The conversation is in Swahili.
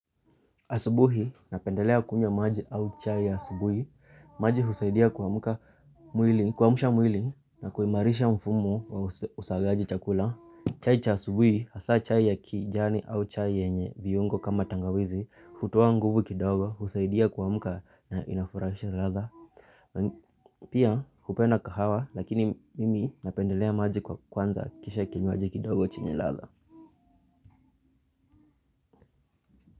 Asubuhi, napendelea kunywa maji au chai asubuhi, maji husaidia kuamusha mwili na kuimarisha mfumo wa usagaji chakula. Chai cha asubuhi, hasaa chai ya kijani au chai yenye viungo kama tangawizi, hutoa nguvu kidogo, husaidia kumuka na inafurashia ladha. Pia, hupenda kahawa, lakini mimi napendelea maji kwanza kisha kinywaji kidogo chenye ladha.